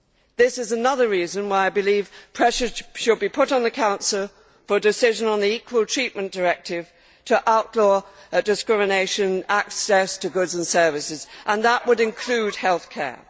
This is another reason why I believe pressure should be put on the Council for a decision on the equal treatment directive to outlaw discrimination in access to goods and services, and that would include healthcare.